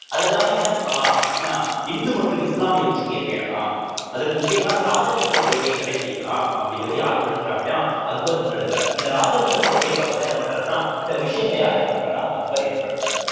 அதற்காக என்ன பண்ணலாம் அப்படின்னா இந்து மற்றும் இஸ்லாமிய ஒற்றுமையை பேணலாம் அதற்கு முக்கியமா ராஜபுத்திர கொள்கையை கடைபிடிக்கலாம் அப்படிங்கிறதை யாரு முன்னெடுக்கிறா அப்படின்னா அக்பர் முன்னெடுக்கிறார் அந்த ராஜபுத்திர கொள்கைக்காகதான் என்ன பண்ணறார்ன்னா சில விஷயங்கள யார் ஏற்படுத்துறான்னா அக்பர் ஏற்படுத்துறார்